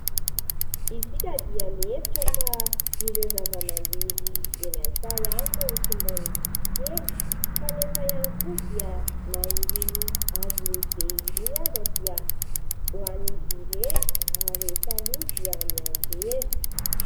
Isika dia mihevitra fa ireo zava-maniry eny an-tsaha ihany no simbain'ny bibikely. Kanefa ihany koa dia na irony hazo lehibe irony aza dia hohanin'izy ireny ary rehefa lò dia mianjera.